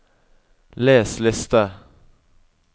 les liste